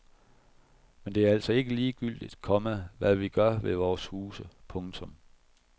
Men det er altså ikke ligegyldigt, komma hvad vi gør ved vore huse. punktum